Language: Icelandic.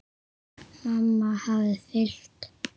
Mamma hafði fylgt